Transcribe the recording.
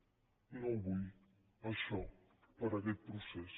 no ho vull això per a aquest procés